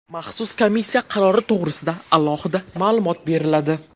Maxsus komissiya qarori to‘g‘risida alohida ma’lumot beriladi.